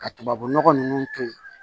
Ka tubabunɔgɔ ninnu to yi